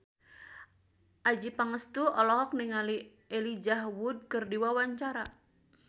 Adjie Pangestu olohok ningali Elijah Wood keur diwawancara